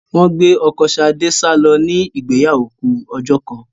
Wọ́n gbé ọkọ Sadé sálọ ní ìgbéyàwó kú ọjọ́ kan